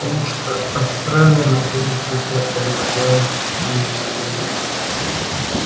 потому что австралия находится у тебя под ногами а не на луне